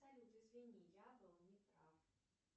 салют извини я был не прав